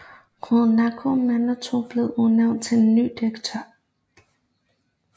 Rod Nakamoto blev udnævnt til ny direktør